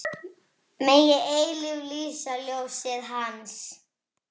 Megi eilíft lýsa ljósið Hans.